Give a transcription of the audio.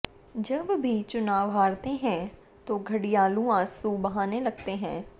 जब भी चुनाव हारते हैं तो घड़ियालू आंसू बहाने लगते हैं